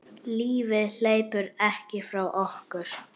Lífið hleypur ekki frá okkur.